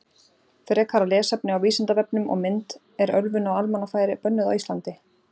Frekara lesefni á Vísindavefnum og mynd Er ölvun á almannafæri bönnuð á Íslandi?